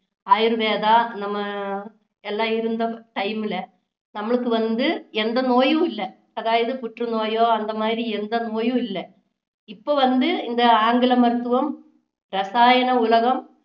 ஆயுர்வேதா நம்ம எல்லாம் இருந்த time ல நம்மளுக்கு வந்து எந்த நோயும் இல்லை அதாவது புற்றுநோயோ அந்த மாதிரி எந்த நோயும் இல்ல இப்போ வந்து இந்த ஆங்கில மருத்துவம் இரசாயன உலகம்